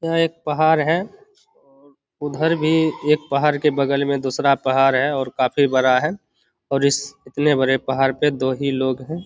यह एक पहाड़ है। उधर भी एक पहाड़ के बगल में दूसरा पहाड़ है और काफी बड़ा है और इस इतने बड़े पहाड़ पे दो ही लोग है।